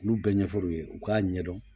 Olu bɛɛ ɲɛfɔr'u ye u k'a ɲɛdɔn